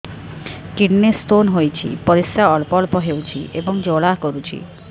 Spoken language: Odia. କିଡ଼ନୀ ସ୍ତୋନ ହୋଇଛି ପରିସ୍ରା ଅଳ୍ପ ଅଳ୍ପ ହେଉଛି ଏବଂ ଜ୍ୱାଳା କରୁଛି